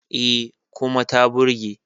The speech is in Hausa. E, kuma ta burge.